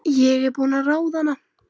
Kemur inn í götuna niður að sjónum.